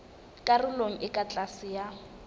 karolong e ka tlase ya